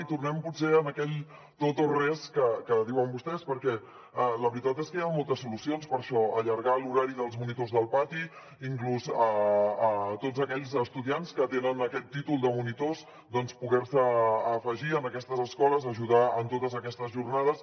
i tornem potser a aquell tot o res que diuen vostès perquè la veritat és que hi han moltes solucions per a això allargar l’horari dels monitors del pati inclús a tots aquells estudiants que tenen aquest títol de monitors poder se afegir a aquestes escoles a ajudar en totes aquestes jornades